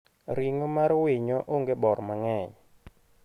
Ring'o mar winyo onge bor mang`eny.